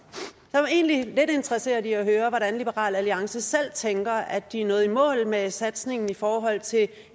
jeg er egentlig lidt interesseret i at høre om liberal alliance selv tænker at de er nået i mål med satsningen i forhold til